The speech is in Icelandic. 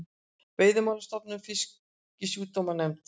Veiðimálastofnun og Fisksjúkdómanefnd.